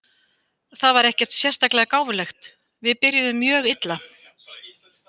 Það var ekkert sérstaklega gáfulegt! Við byrjuðum mjög illa.